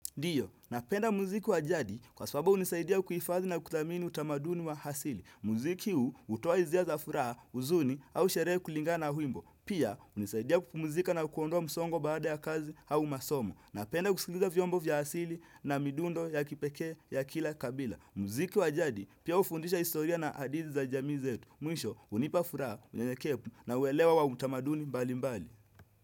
Ndio, napenda muziki wa jadi kwa sababu hunisaidia kuhifadhi na kuthamini utamaduni wa hasili. Muziki huu hutoa hisia za furaha huzuni au sherehe kulingana na wimbo. Pia, hunisaidia kupumuzika na kuondoa msongo baada ya kazi au masomo. Napenda kusikiliza vyombo vya hasili na midundo ya kipeke ya kila kabila. Muziki wa jadi pia hufundisha historia na hadithi za jamii zetu. Mwisho, hunipa furaha, unyenyekevu na uelewo wa utamaduni mbali mbali.